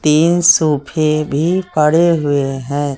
तीन सोफे भी पड़े हुए हैं।